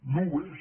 no ho és